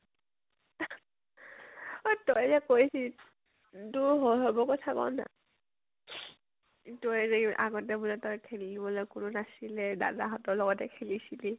তই যে কৈছিলি, তোৰ শৈশৱৰ কথা ক না। তই যে আগতে বলে তই খেলিবলৈ কোনো নাছিলে, দাদা হতৰ লগতে খেলিছিলি।